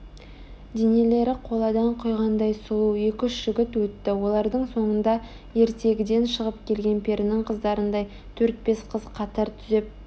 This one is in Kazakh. денелері қоладан құйғандай сұлу екі-үш жігіт өтті олардың соңында ертегіден шығып келген перінің қыздарындай төрт-бес қыз қатар түзеп